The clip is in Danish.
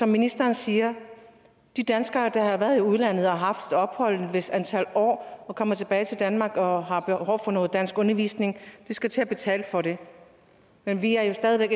ministeren siger de danskere der har været i udlandet og haft ophold et vist antal år og som kommer tilbage til danmark og har behov for noget danskundervisning skal til at betale for det men vi er jo stadig væk